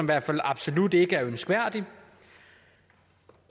hvert fald absolut ikke er ønskværdig